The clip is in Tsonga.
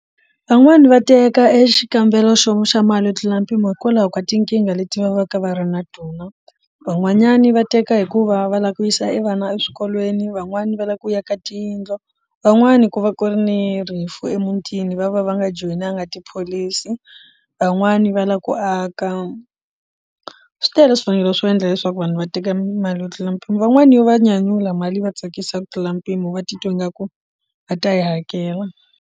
Van'wani va teka e xikambelo xo xa mali yo tlula mpimo hikwalaho ka tinkingha leti va va ka va ri na tona van'wanyani va teka hikuva va lava ku yisa vana eswikolweni van'wani va lava ku yaka tiyindlu van'wani ku va ku ri ni rifu emutini va va va nga joyinaka tipholisi van'wani va lava ku aka swi tele swivangelo swo endla leswaku vanhu va teka mali yo tlula mpimo van'wani yo va nyanyula mali va tsakisa ku tlula mpimo va titwa ingaku va ta yi hakela.